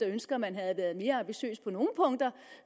ønsker at man havde været mere ambitiøs på nogle punkter